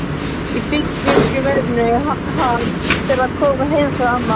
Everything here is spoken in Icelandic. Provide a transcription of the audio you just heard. Í fiskiðjuverinu, hann fer að koma heim sagði amma.